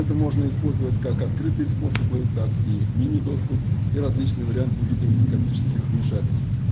это можно использовать как открытые способы так и мини доступ и различные варианты в виде эндоскопических вмешательств